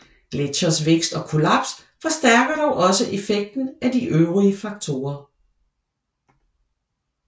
Gletsjeres vækst og kollaps forstærker dog også effekten af de øvrige faktorer